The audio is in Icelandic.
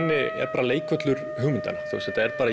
bara leikvöllur hugmyndanna